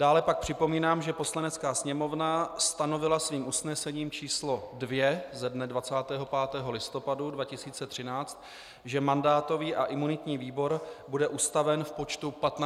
Dále pak připomínám, že Poslanecká sněmovna stanovila svým usnesením číslo 2 ze dne 25. listopadu 2013, že mandátový a imunitní výbor bude ustaven v počtu 15 členů.